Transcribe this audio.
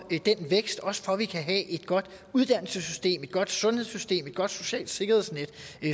den vækst også for at vi kan have et godt uddannelsessystem et godt sundhedssystem og et godt socialt sikkerhedsnet